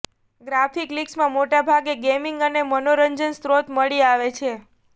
graphic links મોટા ભાગે gaming અને મનોરંજન સ્ત્રોત મળી આવે છે